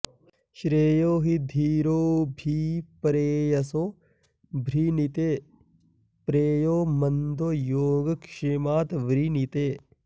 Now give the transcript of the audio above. श्रेयो हि धीरोऽभि प्रेयसो वृणीते प्रेयो मन्दो योगक्षेमात् वृणीते